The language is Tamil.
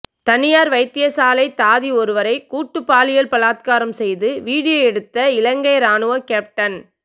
தனியார் வைத்தியசாலை தாதி ஒருவரை கூட்டு பாலியல் பலாத்காரம் செய்து வீடியோ எடுத்த இலங்கை இராணுவ கேப்டன்